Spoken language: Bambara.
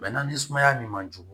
ni sumaya min man jugu